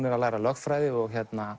er að læra lögfræði og